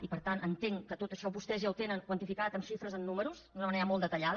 i per tant entenc que tot això vostès ja ho tenen quantificat amb xifres amb números d’una manera molt detallada